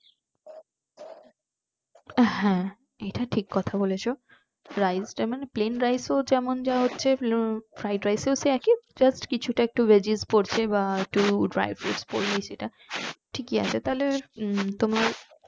হ্যাঁ এটা ঠিক কথা বলেছো fried টা মানে plane rice এ ও যেমন যা হচ্ছে fried rice এ ও একই just কিছুটা একটু veggies পড়ছে বা একটু dry fruit পড়লো কিছুটা ঠিক ই আছে উম তাহলে তোমার